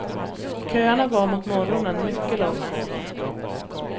Köerna var mot morgonen mycket långa.